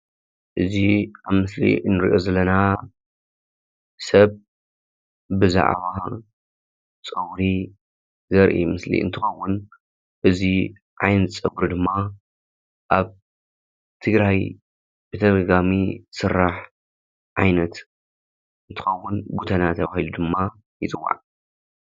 እዚ አብ ምስሊ እንሪኦ ዘለና ሰብ ብዛዕባ ፀጉሪ ዘርኢ ምስሊ እንትኸውን እዚ ዓይነት ፀጉሪ ድማ አብ ትግራይ ብተደጋጋሚ ዝስራሕ ዓይነት እንትኸውን ጎተና ተባሂሉ ድማ ይፅዋዕ፡፡